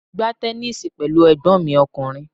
Mo gbá tẹnísíì pẹ̀lú ẹ̀gbọ́n mi ọkùnrin